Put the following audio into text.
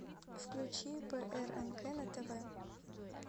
включи прнк на тв